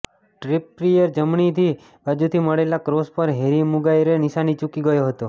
ટ્રિપપિયરથી જમણી બાજુથી મળેલા ક્રોસ પર હેરી માગુઇરે નિશાન ચૂકી ગયો હતો